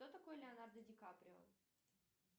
кто такой леонардо ди каприо